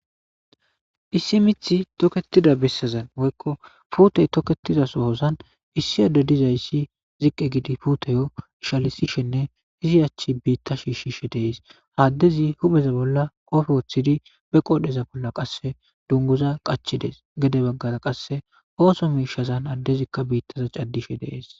Issi mith toketida bessazan woykko puutey toketiza sohozan issi adde dizayssi ziqqi gidi puutiyo ishalisishenne izi achchi biitta shiishshishe dees. Addezi hupheza bolla qoofe woththidi be qoodheza bolla qasse dungguza qachi dees. gede baggara qasse ooso miishazan addezikka biittaza caddishe de'ees.